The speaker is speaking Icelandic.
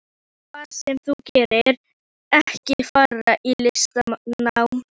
En hvað sem þú gerir, ekki fara í listnám.